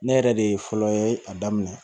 Ne yɛrɛ de ye fɔlɔ ye a daminɛ